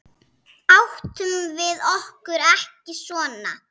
Áttum við okkur ekki son?